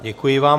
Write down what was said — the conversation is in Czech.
Děkuji vám.